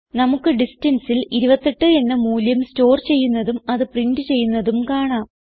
നമുക്ക് distanceൽ 28 എന്ന മൂല്യം സ്റ്റോർ ചെയ്യുന്നതും അത് പ്രിന്റ് ചെയ്യുന്നതും കാണാം